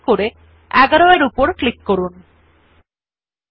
সুতরাং প্রথমে education details লেখাটি নির্বাচন করুন